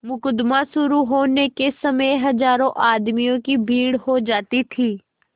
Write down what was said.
मुकदमा शुरु होने के समय हजारों आदमियों की भीड़ हो जाती थी